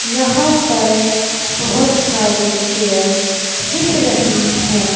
यहां पर बहोत सारे चेयर दिख रही है।